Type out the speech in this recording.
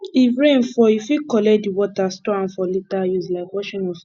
if rain fall you fit collect di water store am for later use like washing of car